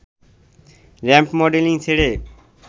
ramp modelling ছেড়ে